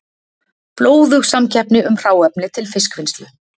Blóðug samkeppni um hráefni til fiskvinnslu